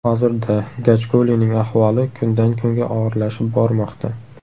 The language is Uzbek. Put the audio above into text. Hozirda Gajkulining ahvoli kundan kunga og‘irlashib bormoqda.